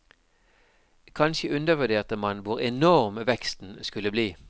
Kanskje undervurderte man hvor enorm veksten skulle bli.